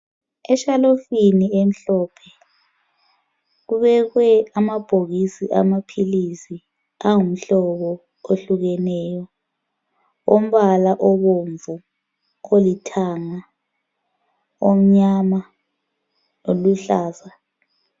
Eshelufini emhlophe kubekwe amabhokisi amaphilisi angumhlobo ohlukeneyo umbala obomvu, olithanga, omnyama oluhlaza.